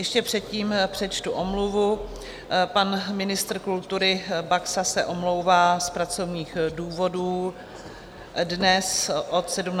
Ještě předtím přečtu omluvu - pan ministr kultury Baxa se omlouvá z pracovních důvodů dnes od 17.45 do 19 hodin.